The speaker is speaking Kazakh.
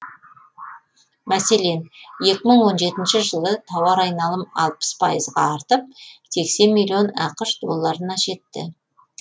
мәселен екі мың он жетінші жылы тауар айналымы алпыс пайызға артып сексен миллион ақш долларына жетті